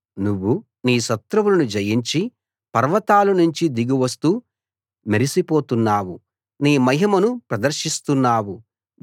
నువ్వు నీ శత్రువులను జయించి పర్వతాల నుంచి దిగి వస్తూ మెరిసిపోతున్నావు నీ మహిమను ప్రదర్శిస్తున్నావు